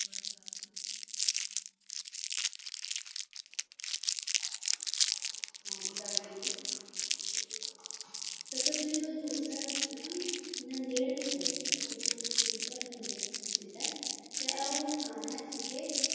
ਹੁਣ ਦਸਦੇਨੀ ਆਣ ਤਖਤ ਸ੍ਰੀ ਹਜੂਰ ਸਾਹਿਬ ਵਿੱਚ ਨੰਦੇੜ ਵਿਖੇ ਗੁਰਗੱਦੀ ਸਮੇਂ ਦੀਆਂ ਤੇ ਇਹ ਉਹ ਦੁਖਾਂਤ ਹੈ ਜਿੱਥੇ